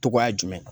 Togoya jumɛn